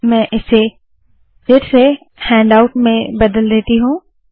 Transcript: मैं इसे फिर से हैण्डआउट में बदल देती हूँ